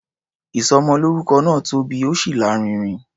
Ìsọmọlórúkọ náà tóbi, ó sì lárinrin.